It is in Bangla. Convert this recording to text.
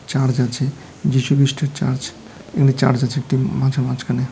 চার্চ র্আছে যীশু খ্রীষ্টের চার্চ এখানে চার্চ আছে একটি মাঠের মাঝখানে।